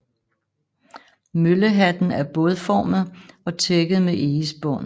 Møllehatten er bådformet og tækket med egespån